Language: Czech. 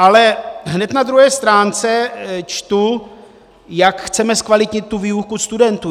Ale hned na druhé stránce čtu, jak chceme zkvalitnit tu výuku studentů.